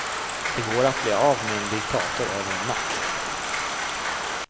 Det går att bli av med en diktator över en natt.